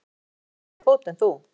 Líttu á, ég er með stærri fót en þú.